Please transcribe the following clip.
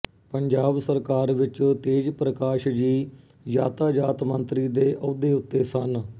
ਪੰਜਾਬ ਸਰਕਾਰ ਵਿੱਚ ਤੇਜ ਪ੍ਰਕਾਸ਼ ਜੀ ਯਾਤਾਜਾਤ ਮੰਤਰੀ ਦੇ ਅਹੁਦੇ ਉੱਤੇ ਸਨ